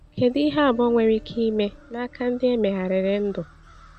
Kedu ihe abụọ nwere ike ime n’aka ndị e megharịrị ndụ?